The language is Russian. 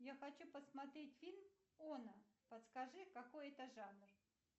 я хочу посмотреть фильм оно подскажи какой это жанр